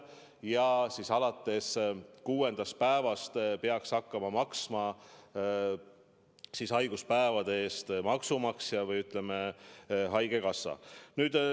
Ja siis alates kuuendast päevast peaks hakkama maksma haiguspäevade eest maksumaksja ehk, ütleme, haigekassa.